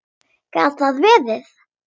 Gat það verið.?